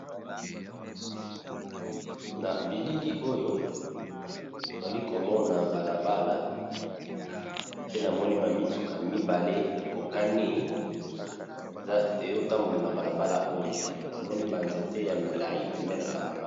Na bilili oyo tozali komona balabala pe namoni ba mituka mibale ekokani ezotambola na balabala oyo namoni banzete ya milai pembeni ya balabala.